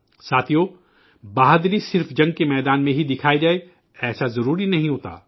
ساتھیو، بہادری صرف میدان جنگ میں ہی دکھائی جائے ایسا ضروری نہیں ہوتا